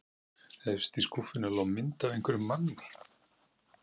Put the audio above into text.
Efst í skúffunni lá mynd af einhverjum manni.